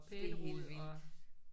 Det er helt vildt